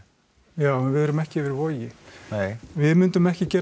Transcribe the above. já en við erum ekki yfir Vogi nei við myndum ekki gera